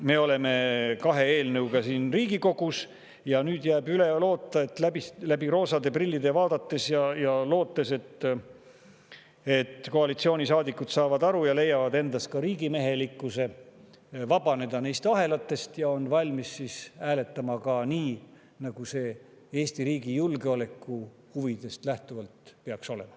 Me oleme kahe eelnõuga siin Riigikogus ja nüüd jääb üle loota – läbi roosade prillide vaadates –, et koalitsioonisaadikud saavad sellest aru ja leiavad endas riigimehelikkuse, et vabaneda neist ahelatest, ning on valmis siis hääletama nii, nagu see Eesti riigi julgeolekuhuvidest lähtuvalt peaks olema.